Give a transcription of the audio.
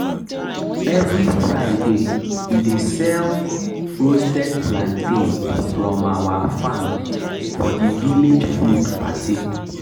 every fridaywe dey sell roasted plantain from our farm for the village food party